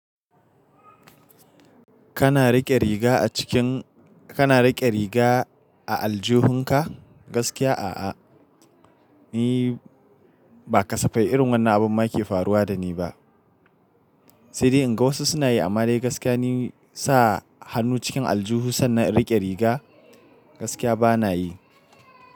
Kana riƙe riga a cikin kana riƙe riga a aljuhunka? Gaskiya a'a. Ni ba kasafai irin wannan abun ma ke faruwa da ni ba. Sai dai in ga wasu suna yi, amma dai gaskiya ni sa hannu cikin aljuhu sannan riƙe riga gaskiya bana yi.